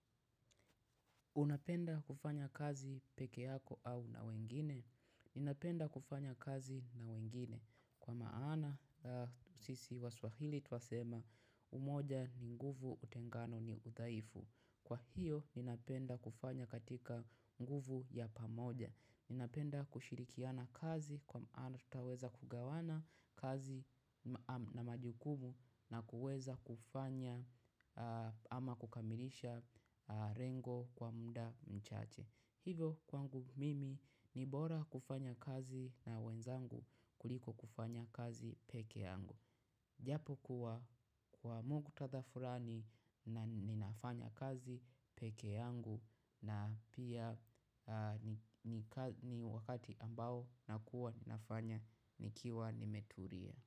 Unapenda kufanya kazi peke yako au na wengine? Ninapenda kufanya kazi na wengine. Kwa maana, sisi waswahili twasema umoja ni nguvu utengano ni udhaifu. Kwa hiyo, ninapenda kufanya katika nguvu ya pamoja. Ninapenda kushirikiana kazi kwa maana tutaweza kugawana kazi na majukumu. Na kuweza kufanya ama kukamilisha rengo kwa mda mchache. Hivo kwangu mimi ni bora kufanya kazi na wenzangu kuliko kufanya kazi peke yangu. Japokuwa kwa muktadha furani na ninafanya kazi peke yangu na pia ni wakati ambao nakuwa ninafanya nikiwa nimeturia.